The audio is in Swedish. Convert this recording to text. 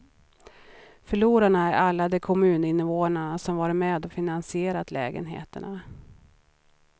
Förlorarna är alla de kommuninvånare som varit med och finansierat lägenheterna.